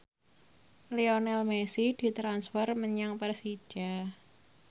Lionel Messi ditransfer menyang Persija